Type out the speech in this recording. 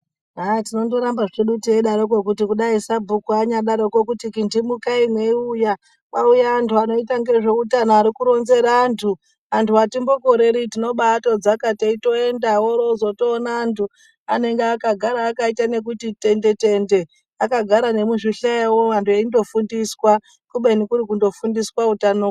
Aaaa! tinondoramba zvedu teidaroko kuti dai sabhuku anyadaroko kuti ,"kintimukai mweiuya kwauya anhu anoita ngezveutano arikuronzera antu "antu atimbokoreri tinoba atodzaka teitoenda woroozotoona antu anenge akagara akaita nekuti tende tende akagara nemuzvihlayo antu eindofundiswa kubeni kurikundofundiswa utano.